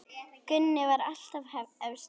Gunni var alltaf efstur.